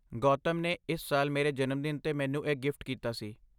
ਗੌਤਮ ਨੇ ਇਸ ਸਾਲ ਮੇਰੇ ਜਨਮਦਿਨ 'ਤੇ ਮੈਨੂੰ ਇਹ ਗਿਫਟ ਕੀਤਾ ਸੀ।